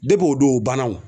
Dep'o don o banna o.